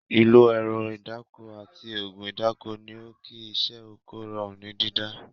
Ìlo ẹ̀rọ ìdáko àti ògùn ìdáko ni ó kí iṣẹ́ Oko rọrùn ní dídá